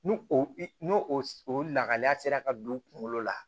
N'u o n'o o lahaliya sera ka don u kungolo la